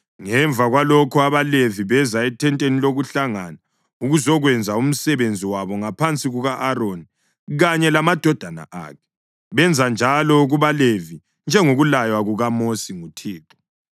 Ngemva kwalokho, abaLevi beza ethenteni lokuhlangana ukuzokwenza umsebenzi wabo ngaphansi kuka-Aroni kanye lamadodana akhe. Benza njalo kubaLevi njengokulaywa kukaMosi nguThixo.